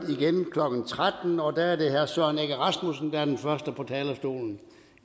klokken tretten og der er det herre søren egge rasmussen der er den første på talerstolen